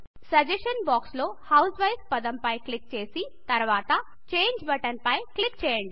suggestion box లో housewife పదం పై క్లిక్ చేసి తర్వాత చేంజ్ బటన్ పై క్లిక్ చేయండి